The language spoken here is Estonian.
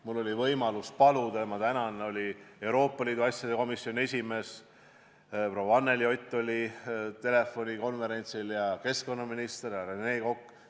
Mul oli võimalus paluda osalema telefonikonverentsile Euroopa Liidu asjade komisjoni esimees proua Anneli Ott ja keskkonnaminister härra Rene Kokk.